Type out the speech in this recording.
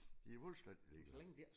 De fuldstændig ligeglade